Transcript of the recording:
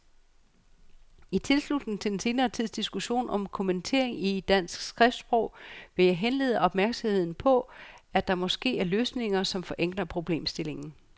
I tilslutning til den senere tids diskussion om kommatering i dansk skriftsprog vil jeg henlede opmærksomheden på, at der måske er løsninger, som forenkler problemstillingen.